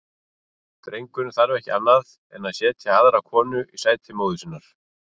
Drengurinn þarf ekki annað en setja aðra konu í sæti móður sinnar.